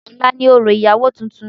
Ọ̀la ni òrò ìyàwó tuntun.